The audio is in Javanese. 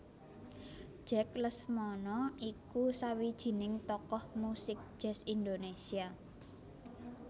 Jack Lesmana iku sawijining tokoh muzik jazz Indonésia